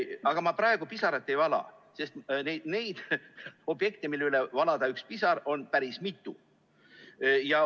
Aga ma praegu pisaraid ei vala, sest neid objekte, mille üle valada üks pisar, on päris mitu.